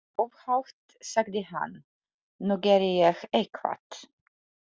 Upphátt sagði hann:- Nú geri ég eitthvað.